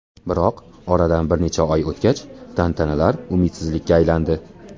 Biroq oradan bir necha oy o‘tgach, tantanalar umidsizlikka aylandi.